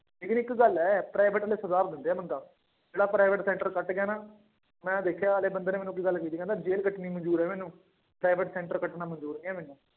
ਲੇਕਿੰਨ ਇੱਕ ਗੱਲ ਹੈ private ਵਾਲੇ ਸੁਧਾਰ ਦਿੰਦੇ ਆ ਬੰਦਾ, ਜਿਹੜਾ private center ਕੱਟ ਗਿਆ ਨਾ, ਮੈਂ ਦੇਖਿਆ ਨਾਲੇ ਬੰਦੇ ਨੇ ਮੈਨੂੰ ਇੱਕ ਗੱਲ ਕਹੀ ਸੀ ਕਹਿੰਦਾ ਜੇਲ੍ਹ ਕੱਟਣੀ ਮੰਨਜ਼ੂਰ ਹੈ ਮੈਨੂੰ private center ਕੱਟਣਾ ਮੰਨਜ਼ੂਰ ਨੀ ਹੈ ਮੈਨੂੰ।